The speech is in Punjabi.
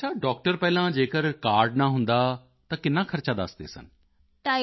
ਅੱਛਾ ਡਾਕਟਰ ਪਹਿਲਾਂ ਜੇਕਰ ਕਾਰਡ ਨਾ ਹੁੰਦਾ ਤਾਂ ਕਿੰਨਾ ਖਰਚ ਦੱਸਦੇ ਸਨ